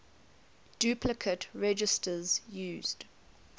duplicate registers used